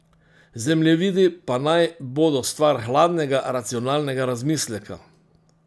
Zemljevidi pa naj bodo stvar hladnega, racionalnega razmisleka.